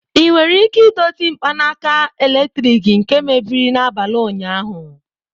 Ị nwere ike idozi mkpanaka eletrik nke mebiri n'abalị ụnyaahụ?